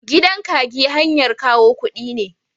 Gidan kagi hanyar kawo kudi ne.